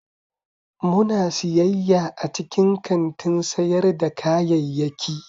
Muna siyayya a cikin kantin sayar da kayayyaki.